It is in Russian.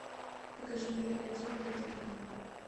покажи мне один на тв